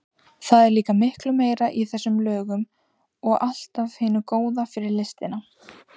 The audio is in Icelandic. Það er líka miklu meira í þessum lögum og allt af hinu góða fyrir listina.